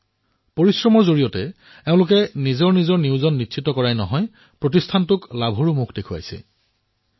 নিজৰ পৰিশ্ৰমেৰে এই লোকসকলে কেৱল নিজৰ নিয়োজন নিশ্চিত কৰাই নহয় বৰঞ্চ নিজৰ উদ্যোগকো লাভজনক অৱস্থানত উপনীত কৰোৱালে